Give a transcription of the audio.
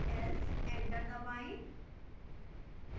else enter दबाएं